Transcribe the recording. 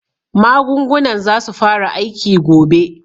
Magungunan zasu fara aiki gobe.